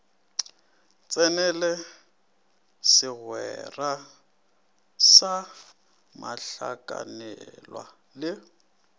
tsenele segwera sa mohlakanelwa le